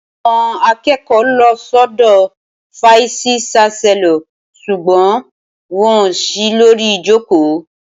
Awon àkẹkọ ló ṣọdọ fàísì ṣasẹló sugbon won òsí lòrí ìjókò.